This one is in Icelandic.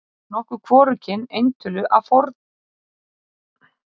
þar er notað hvorugkyn eintölu af fornafninu hvor tveggja